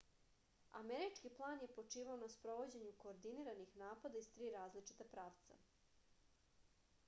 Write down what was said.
američki plan je počivao na sprovođenju koordiniranih napada iz tri različita pravca